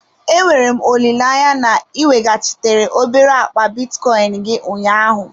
Enwere m olileanya na ị weghachitere obere akpa bitcoin gị ụnyaahụ?